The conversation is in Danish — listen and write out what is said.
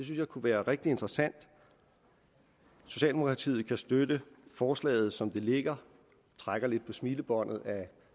jeg kunne være rigtig interessant socialdemokratiet kan støtte forslaget som det ligger og trækker lidt på smilebåndet af